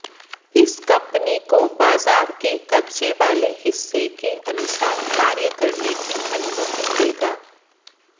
इस कंपनी को बाजार के कब्जे वाले हिस्से के अनुसार कार्य करने की अनुमति देगा